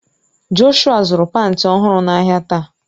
Jọshụa zuru panti ọhụrụ n'ahia taa